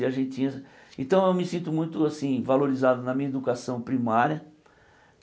E a gente tinha então eu me sinto muito assim valorizado na minha educação primária.